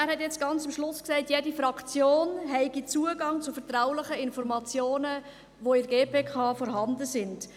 Er hat jetzt ganz am Schluss gesagt, jede Fraktion habe Zugang zu vertraulichen Informationen, die in der GPK vorhanden sind.